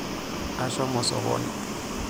Ashomo sokoni.